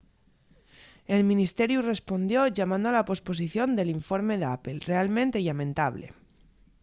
el ministeriu respondió llamando a la posposición del informe d’apple realmente llamentable